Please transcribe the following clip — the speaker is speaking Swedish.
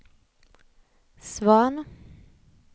Svahn